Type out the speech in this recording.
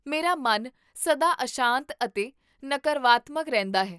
ਮੇਰਾ ਮਨ ਸਦਾ ਅਸ਼ਾਂਤ ਅਤੇ ਨਕਾਰਾਤਮਕ ਰਹਿੰਦਾ ਹੈ